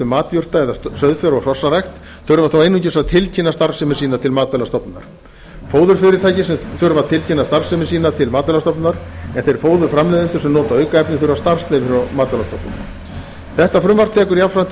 matjurta eða sauðfjár og hrossarækt þurfa þó einungis að tilkynna starfsemi sína til matvælastofnunar fóðurfyrirtækin þurfa að tilkynna starfsemi sína til matvælastofnunar en þeir fóðurframleiðendur sem nota aukefni þurfa starfsleyfi frá matvælastofnun þetta frumvarp tekur jafnframt tillit til reglugerðar